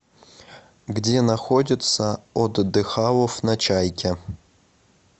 где находится отдыхалов на чайке